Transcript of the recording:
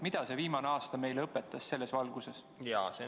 Mida see viimane aasta meile selles valguses õpetas?